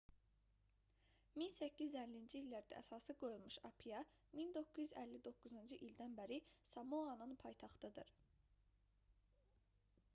1850-ci illərdə əsası qoyulmuş apia 1959-cu ildən bəri samoanın paytaxtıdır